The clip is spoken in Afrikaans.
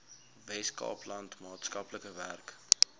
weskaapland maatskaplike werk